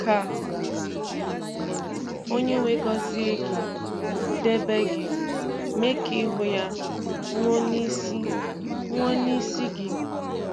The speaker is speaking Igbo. Ka Onye-nwe gọzie gị, debe gị, mee ka ihu ya nwuo n’isi nwuo n’isi gị!